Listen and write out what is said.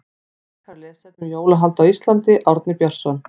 Frekara lesefni um jólahald á Íslandi Árni Björnsson.